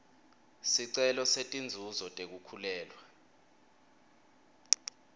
sicelo setinzuzo tekukhulelwa